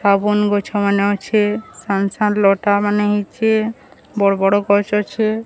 ସାବୁନ ଗଛ ମାନେ ଅଛେ ସାନ ସାନ ଲତା ମାନେ ହେଇଛେ ବଡ଼ ବଡ଼ ଗଛ ଅଛେ।